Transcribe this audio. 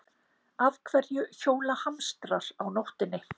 Af hverju hjóla hamstrar á nóttinni?